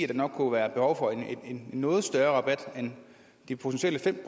der nok kunne være behov for en noget større rabat end de potentielle fem